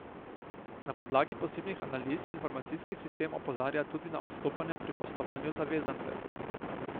Na podlagi posebnih analiz informacijski sistem opozarja tudi na odstopanja pri poslovanju zavezancev.